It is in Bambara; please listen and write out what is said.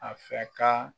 A fɛ ka